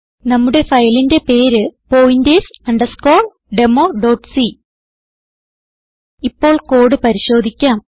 നമ്മുടെ ഫയലിന്റെ പേര് pointers democ ഇപ്പോൾ കോഡ് പരിശോധിക്കാം